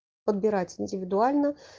подбирать индивидуально